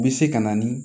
Bɛ se ka na ni